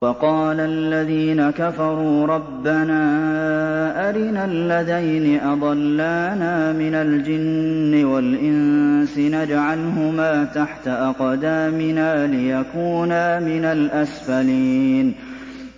وَقَالَ الَّذِينَ كَفَرُوا رَبَّنَا أَرِنَا اللَّذَيْنِ أَضَلَّانَا مِنَ الْجِنِّ وَالْإِنسِ نَجْعَلْهُمَا تَحْتَ أَقْدَامِنَا لِيَكُونَا مِنَ الْأَسْفَلِينَ